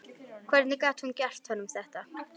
Hvernig gat hún gert honum þetta?